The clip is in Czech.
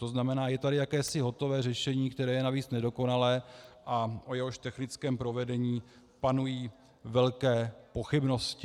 To znamená, je tady jakési hotové řešení, které je navíc nedokonalé a o jehož technickém provedení panují velké pochybnosti.